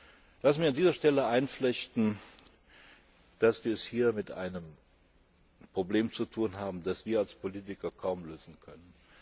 Lassen Sie mich an dieser Stelle einflechten, dass wir es hier mit einem Problem zu tun haben, das wir als Politiker kaum lösen können.